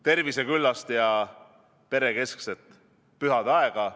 Terviseküllast ja perekeskset pühadeaega!